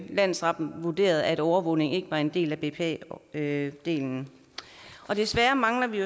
landsretten vurderede at overvågning ikke var en del af bpa delen desværre mangler vi